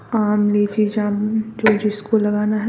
आम लीची जामुन जो जिसको लगाना है --